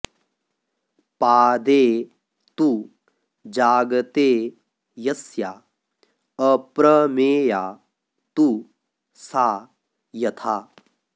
पादे तु जागते यस्या अप्रमेया तु सा यथा